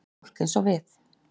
Fólk eins og við.